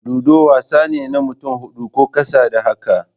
Ludo wasa ne na mutane hudu ko ƙasa da haka.